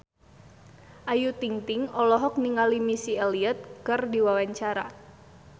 Ayu Ting-ting olohok ningali Missy Elliott keur diwawancara